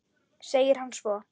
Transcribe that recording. segir hann svo.